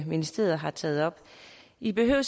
ministeriet har taget op i behøver